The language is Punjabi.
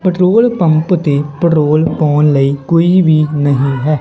ਪੈਟਰੋਲ ਪੰਪ ਤੇ ਪੈਟਰੋਲ ਪਾਉਣ ਲਈ ਕੋਈ ਵੀ ਨਹੀਂ ਹੈ।